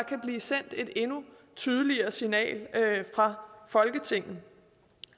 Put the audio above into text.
blive sendt et endnu tydeligere signal fra folketinget